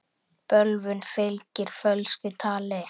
Bölvun fylgir fölsku tali.